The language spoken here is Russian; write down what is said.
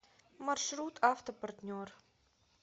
маршрут автопартнер